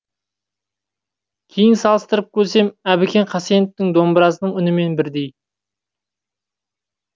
кейін салыстырып көрсем әбікен хасеновтің домбырасының үнімен бірдей